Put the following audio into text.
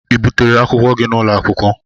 Ị butere akwụkwọ gị n'ụlọ akwụkwọ?